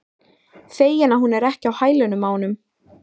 Feginn að hún er ekki á hælunum á honum.